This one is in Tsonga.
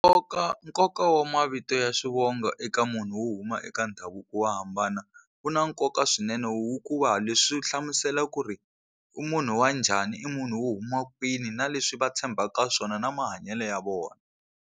Nkoka nkoka wa mavito ya swivongo eka munhu wo huma eka ndhavuko wo hambana wu na nkoka swinene leswi wu hlamusela ku ri u munhu wa njhani i munhu wo huma kwini na leswi va tshembaka swona na mahanyelo ya vona.